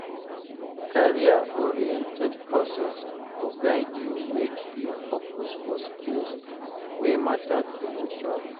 Career-oriented courses go guide you make you focus for skills wey matter to your job.